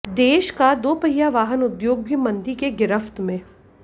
देश का दोपहिया वाहन उद्योग भी मंदी के गिरफ्त में